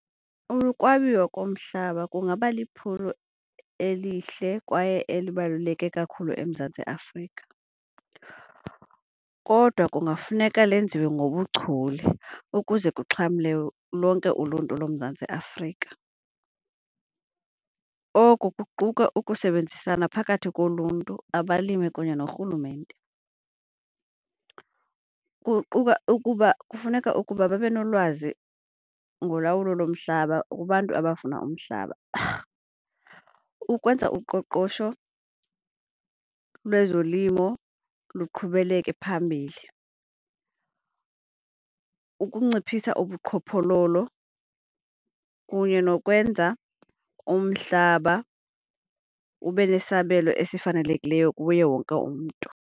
Ukwabiwa komhlaba kungaba liphulo elihle kwaye elibaluleke kakhulu eMzantsi Afrika kodwa kungafuneka lenziwe ngobuchule ukuze kuxhamle lonke uluntu loMzantsi Afrika. Oko kuquka ukusebenzisana phakathi koluntu, abalimi kunye norhulumente. Kuquka ukuba kufuneka ukuba babe nolwazi ngolawulo lomhlaba kubantu abafuna umhlaba ukwenza uqoqosho lwezolimo luqhubeleke phambili, ukunciphisa ubuqhophololo kunye nokwenza umhlaba ube nesabelo esifanelekileyo kuye wonke umntu.